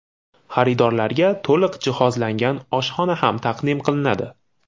Xaridorlarga to‘liq jihozlangan oshxona ham taqdim qilinadi.